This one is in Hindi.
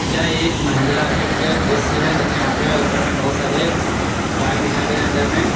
यह एक महिंद्रा आर्केट के दृश्य है तथा यहां पे ऊपर में बहोत सारे बाइक दिखाई दे रहे अंदर में।